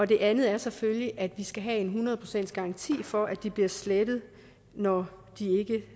det andet er selvfølgelig at vi skal have en hundrede procents garanti for at de bliver slettet når de ikke